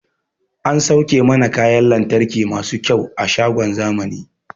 An sauke mana kayan lantarki masu kyau a shagon zamani